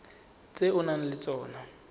tse o nang le tsona